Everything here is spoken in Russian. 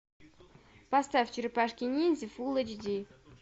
поставь черепашки ниндзя фул эйч ди